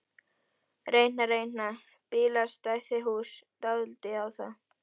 Reyna, reyna bílastæðahús dálítið á það?